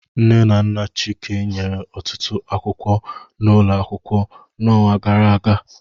Nne na nna Chike nyere ọtụtụ akwụkwọ n'ụlọ akwụkwọ n'ọnwa gara aga